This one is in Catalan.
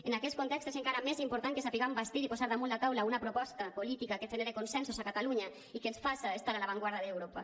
en aquest context és encara més important que sapiguem bastir i posar damunt la taula una proposta política que genere consensos a catalunya i que ens faça estar a l’avantguarda d’europa